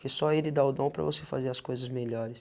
Que só ele dá o dom para você fazer as coisas melhores.